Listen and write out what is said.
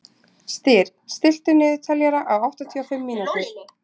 Styr, stilltu niðurteljara á áttatíu og fimm mínútur.